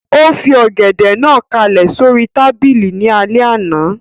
Ó fi Ọ̀gẹ̀dẹ̀ náà kálẹ̀ sóri tábìlì ní alẹ́ àná